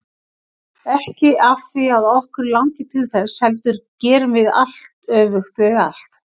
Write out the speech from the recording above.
Ekki af því að okkur langi til þess, heldur gerum við allt öfugt við allt.